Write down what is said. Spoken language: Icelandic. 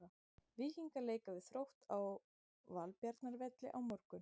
Víkingar leika við Þrótt á Valbjarnarvelli á morgun.